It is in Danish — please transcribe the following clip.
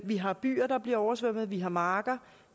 vi har byer der bliver oversvømmet vi har marker